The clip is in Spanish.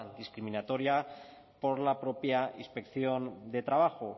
discriminatoria por la propia inspección de trabajo